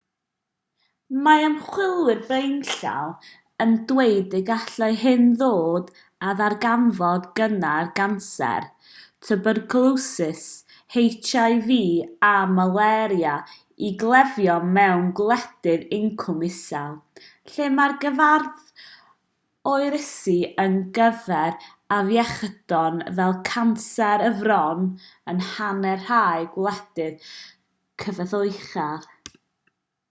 mae ymchwilwyr blaenllaw yn dweud y gallai hyn ddod â darganfod cynnar canser twbercwlosis hiv a malaria i gleifion mewn gwledydd incwm isel lle mae'r gyfradd oroesi ar gyfer afiechydon fel canser y fron yn hanner rhai gwledydd cyfoethocach